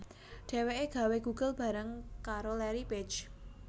Dhéwéké gawé Google bareng karo Larry Page